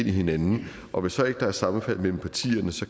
i hinanden og hvis der så ikke er sammenfald mellem partierne